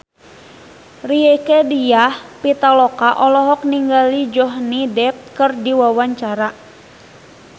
Rieke Diah Pitaloka olohok ningali Johnny Depp keur diwawancara